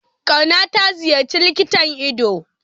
Kauna ta ziyarci likitan ido?